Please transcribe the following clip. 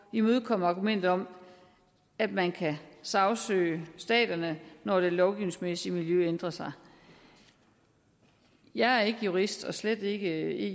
imødekomme argumentet om at man kan sagsøge staterne når det lovgivningsmæssige miljø ændrer sig jeg er ikke jurist og slet ikke